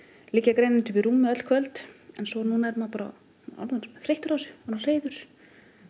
liggja grenjandi uppi í rúmi öll kvöld en núna er maður bara orðinn þreyttur á þessu